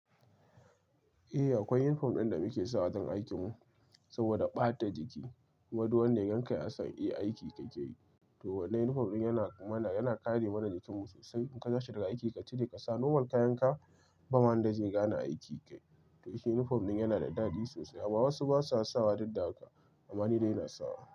Eh akwai yunifom da muke sawa don aikinmu saboda ɓata jiki, kuma du wanda ya ganka ya san aiki kake yi. Wannan uniiform ɗin yana kare mana jikinmu sosai. In ka zo shiga aiki ka cire ka sa normal kayanka, ba ma wanda zai gane aiki kai shi uniform din yana da dadi sosai amma wasu basa sawa duk da haka amma ni dai ina sawa.